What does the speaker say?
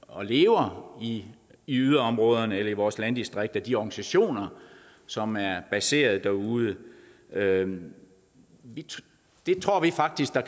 og lever i yderområderne eller i vores landdistrikter altså de organisationer som er baseret derude derude tror vi faktisk der